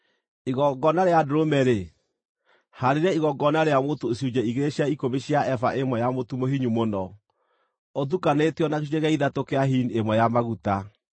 “ ‘Igongona rĩa ndũrũme-rĩ, haarĩria igongona rĩa mũtu icunjĩ igĩrĩ cia ikũmi cia eba ĩmwe ya mũtu mũhinyu mũno, ũtukanĩtio na gĩcunjĩ gĩa ithatũ kĩa hini ĩmwe ya maguta,